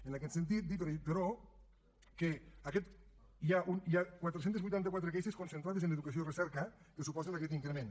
en aquest sentit dir però que hi ha quatre cents i vuitanta quatre queixes concentrades en educació i recerca que suposen aquest increment